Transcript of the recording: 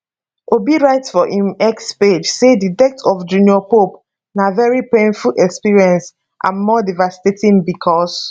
obi write for im x page say di death of junior pope na very painful experience and more devastating becos